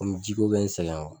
Komi ji ko bɛ n sɛgɛn